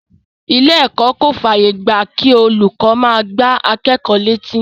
Ilé ẹ̀kọ́ kò fàyè gba kí olùkọ́ máa gbá akẹ́kọ̀ọ́ létí.